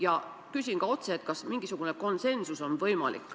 Ja küsin ka otse: kas mingisugune konsensus on võimalik.